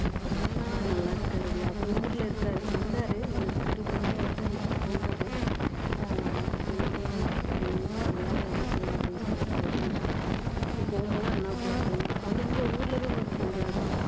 ஆஹ் நல்லா இருக்காருடி அவரு ஊர்ல இருக்காரு வந்தாரு என்னை கூட்டிட்டு வந்து அவர்தான் விட்டுட்டு போனாரு ஆஹ் சரி ரெண்~ ஒரு வாரம் இருந்துட்டு வா அப்படின்னு சொல்லிட்டு vacation க்கு இனி போகும்போது அண்ணா கூட போகணும் அவரு இங்க ஊர்லதான் work பண்றாரு